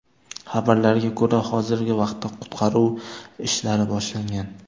Xabarlarga ko‘ra, hozirgi vaqtda qutqaruv ishlari boshlangan.